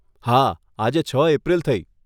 હા, આજે છ એપ્રિલ થઈ.